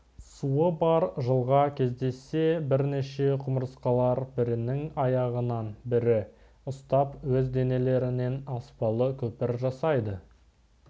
суы бар жылға кездессе бірнеше құмырсқалар бірінің аяғынан бірі ұстап өз денелерінен аспалы көпір жасайды